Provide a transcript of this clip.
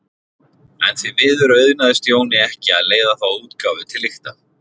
En því miður auðnaðist Jóni ekki að leiða þá útgáfu til lykta.